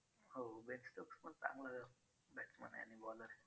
हो ben stokes पण चांगला batsman आहे आणि bowler आहे.